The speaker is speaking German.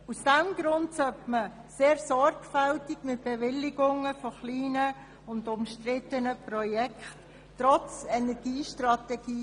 Deshalb sollte man trotz Energiestrategie sehr sorgfältig mit Bewilligungen von kleinen und umstrittenen Projekte umgehen.